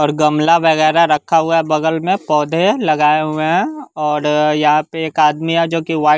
और गमला वगैरह रखा हुआ है बगल में पौधे लगायें हुए है और यहां पे एक आदमी है जो कि व्हाइट --